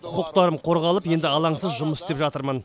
құқықтарым қорғалып енді алаңсыз жұмыс істеп жатырмын